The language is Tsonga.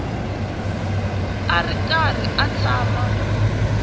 a ri karhi a tshama